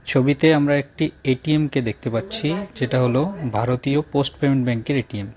ছবিতে আমরা একটি এ_টি_এমকে দেখতে পাচ্ছি যেটা হল ভারতীয় পোস্ট পেমেন্ট ব্যাঙ্কের -এর এ_টি_এম ।